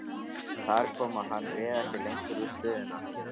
Þar kom að hann réð ekki lengur við stöðuna.